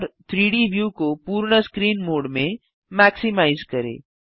और 3डी व्यू को पूर्ण स्क्रीन मोड में मैक्सिमाइज करें